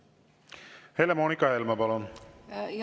Helle-Moonika Helme, palun!